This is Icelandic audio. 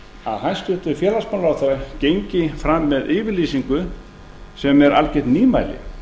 að hæstvirtur félagsmálaráðherra gengi fram með yfirlýsingu sem er algjört nýmæli